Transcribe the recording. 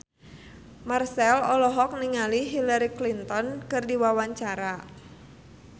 Marchell olohok ningali Hillary Clinton keur diwawancara